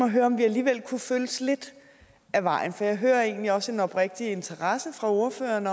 at høre om vi alligevel kunne følges lidt ad vejen for jeg hører egentlig også en oprigtig interesse fra ordføreren